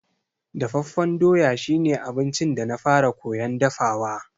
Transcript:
Dafaffen doya shi ne abincin da na fara koyan dafawa.